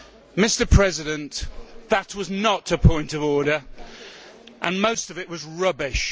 Mr President, that was not a point of order and most of it was rubbish.